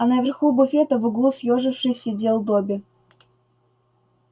а на верху буфета в углу съёжившись сидел добби